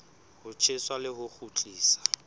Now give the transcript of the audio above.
ho tjheswa le ho kgutliswa